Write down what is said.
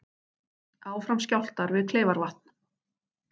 Áfram skjálftar við Kleifarvatn